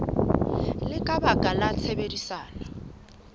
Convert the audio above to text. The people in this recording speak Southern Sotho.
le ka baka la tshebedisano